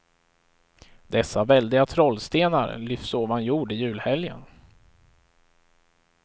Dessa väldiga trollstenar lyfts ovan jord i julhelgen.